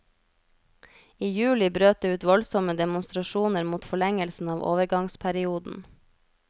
I juli brøt det ut voldsomme demonstrasjoner mot forlengelsen av overgangsperioden.